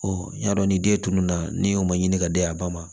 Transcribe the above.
n y'a dɔn ni den tunun na ne y'o ma ɲini ka di a ba ma